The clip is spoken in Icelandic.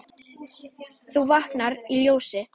þú vaknar í ljósi.